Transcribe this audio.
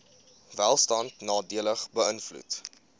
welstand nadelig beïnvloed